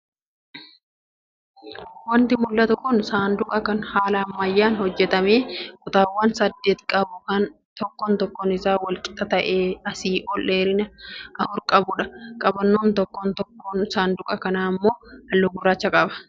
Wanti mul'atu kun saanduqa kan haala ammayyaan hojjatamee kutaawwan saddeet qabu kan tokkoon tokkoon isaa walqixa ta'ee asii ol dheerina afur qabudha. Qabannoon tokkoon tokkoo saanduqa kanaa immoo halluu gurraacha qaba